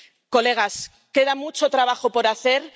Colegas, queda mucho trabajo por hacer.